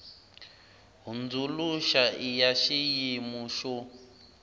hundzuluxa i ya xiyimu xo